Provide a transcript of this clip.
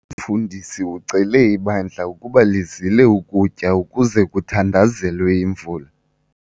Umfundisi ucele ibandla ukuba lizile ukutya ukuze kuthandazelwe imvula.